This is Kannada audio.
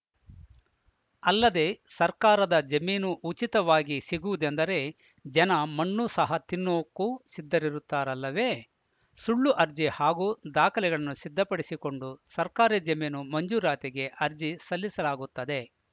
ಅಲ್ಲದೆ ಸರ್ಕಾರದ ಜಮೀನು ಉಚಿತವಾಗಿ ಸಿಗುವುದೆಂದರೆ ಜನ ಮಣ್ಣು ಸಹ ತಿನ್ನೋಕೂ ಸಿದ್ಧರಿರುತ್ತಾರಲ್ಲವೇ ಸುಳ್ಳು ಅರ್ಜಿ ಹಾಗೂ ದಾಖಲೆಗಳನ್ನು ಸಿದ್ಧಪಡಿಸಿಕೊಂಡು ಸರ್ಕಾರಿ ಜಮೀನು ಮಂಜೂರಾತಿಗೆ ಅರ್ಜಿ ಸಲ್ಲಿಸಲಾಗುತ್ತದೆ